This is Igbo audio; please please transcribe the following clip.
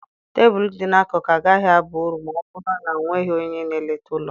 Tebụl dị n'akụkụ agaghị aba uru ma ọ bụrụ na ọ nweghị onye na-eleta ụlọ m.